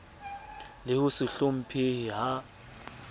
le ho se hlomphehe ha